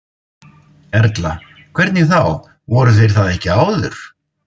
Erla: Hvernig þá, voru þeir það ekki áður?